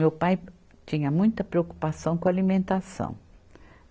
Meu pai tinha muita preocupação com alimentação.